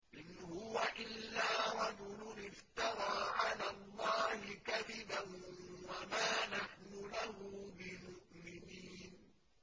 إِنْ هُوَ إِلَّا رَجُلٌ افْتَرَىٰ عَلَى اللَّهِ كَذِبًا وَمَا نَحْنُ لَهُ بِمُؤْمِنِينَ